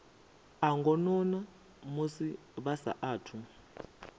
a ngonani musi vha saathu